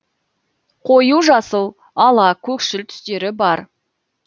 қою жасыл ала көкшіл түстері бар